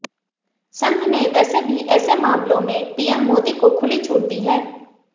संघ ने वैसे भी ऐसे मामलों में पीएम मोदी को खुली छूट दी है